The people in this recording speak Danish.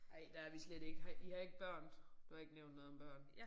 Ej der er vi slet ikke. Har I har ikke børn? Du har ikke nævnt noget om børn